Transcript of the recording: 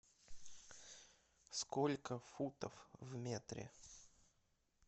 сколько футов в метре